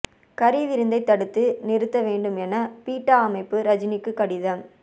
கறி விருந்தை தடுத்து நிறுத்த வேண்டும் என பீட்டா அமைப்பு ரஜினிக்கு கடிதம்